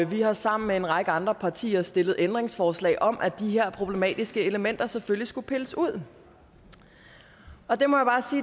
vi har sammen med en række andre partier stillet ændringsforslag om at de her problematiske elementer selvfølgelig skulle pilles ud og det må